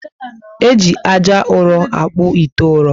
Eji ájá ụrọ akpu ite ụrọ